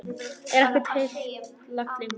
Er ekkert heilagt lengur?